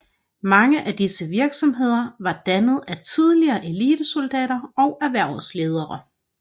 Mange af disse virksomheder var dannet af tidligere elitesoldater og erhvervsledere